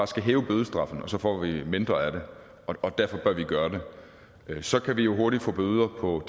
skal hæve bødestraffen og så får vi mindre af det og derfor bør vi gøre det så kan vi jo hurtigt få bøder på